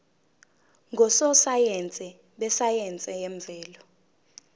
ngososayense besayense yemvelo